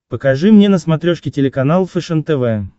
покажи мне на смотрешке телеканал фэшен тв